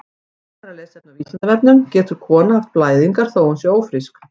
Frekara lesefni á Vísindavefnum: Getur kona haft blæðingar þó að hún sé ófrísk?